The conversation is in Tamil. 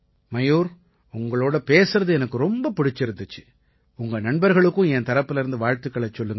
மயூர் உங்களோட பேசறது எனக்கு ரொம்ப பிடிச்சிருந்திச்சு உங்க நண்பர்களுக்கும் என் தரப்பிலேர்ந்து வாழ்த்துக்களைச் சொல்லுங்க